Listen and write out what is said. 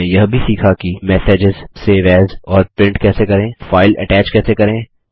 हमने यह भी सीखा कि मेसेजेज सेव एएस और प्रिंट कैसे करें फाइल अटैच कैसे करें